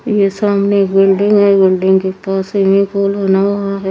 ये सामने बिल्डिंग हे बिल्डिंग के पास स्विमिंग पूल बना हुआ है।